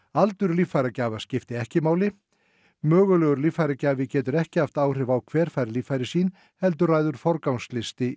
aldur líffæragjafa skiptir ekki máli mögulegur líffæragjafi getur ekki haft áhrif á hver fær líffæri sín heldur ræður forgangslisti